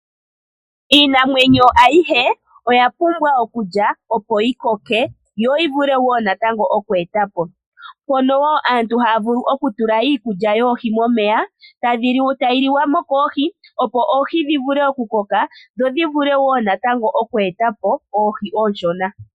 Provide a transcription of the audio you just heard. Iinamwenyo ayihe oya pumbwa okulya opo yikoke yo yivule woo natango oku etapo ,mpono woo aantu haya vulu okutula iikulya dhoohi momeya tayi liwamo koohi opo oohi dho dhivule oku koka dho dhivule woo natango oku etapo oohi oonshona .